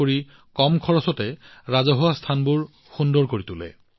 এই অভিযানটো কম খৰচত ৰাজহুৱা স্থানবোৰ কেনেদৰে সুন্দৰ কৰিব পাৰি তাৰ এটা উদাহৰণ